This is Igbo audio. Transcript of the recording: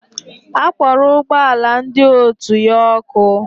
Akpọrọ ụgbọala ndị otu ya ọkụ